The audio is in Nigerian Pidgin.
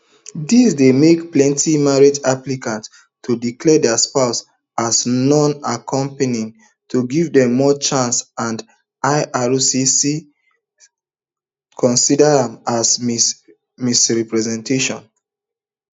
dis dey make plenti married applicants to declare dia spouses as nonaccompanying to give dem more chances and ircc consida am as misrepresentation